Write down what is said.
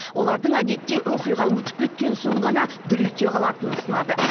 олардың әдетте оқиға өтіп кеткен соң ғана дүр ете қалатынын сынады